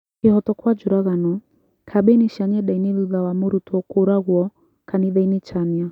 #Kĩhotokwanjũragano:Kambeini cia nyendainĩ thutha wa mũrutwo kũragwo kanithainĩ Chania